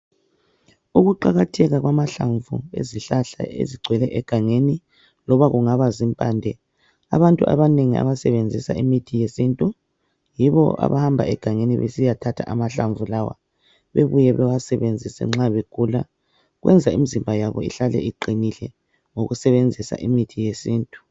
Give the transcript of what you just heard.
Ukuqakatheka kwamahlamvu ezihlahla ezigcwele egangeni loba kungaba zimpande abantu abanengi abasebenzisa imithi yesintu yibo abahamba egangeni besiyathatha amahlamvu lawa bebuye bewasebenzise nxa begula kwenza imizimba yabo ihlale iqinile ngokusebenzisa imithi yesintu